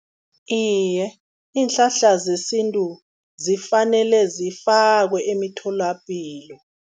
Iye, iinhlahla zesintu zifanele zifakiwe emitholapilo.